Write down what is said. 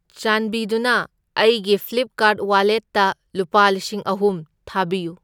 ꯆꯥꯟꯕꯤꯗꯨꯅ ꯑꯩꯒꯤ ꯐ꯭ꯂꯤꯞꯀꯥꯔꯠ ꯋꯥꯂꯦꯠꯇ ꯂꯨꯄꯥ ꯂꯤꯁꯤꯡ ꯑꯍꯨꯝ ꯊꯥꯕꯤꯌꯨ꯫